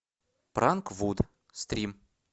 пранк вуд стрим